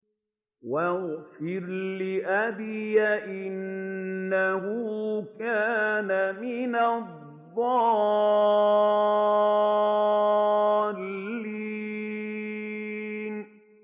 وَاغْفِرْ لِأَبِي إِنَّهُ كَانَ مِنَ الضَّالِّينَ